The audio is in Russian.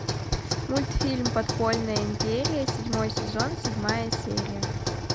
мультфильм подпольная империя седьмой сезон седьмая серия